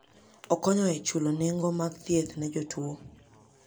Okonyo e chulo nengo mag thieth ne jotuwo.